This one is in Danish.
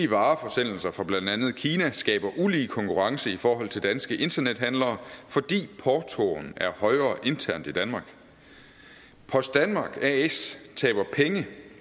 vareforsendelser fra blandt andet kina skaber ulige konkurrence i forhold til danske internethandlere fordi portoen er højere internt i danmark post danmark as taber penge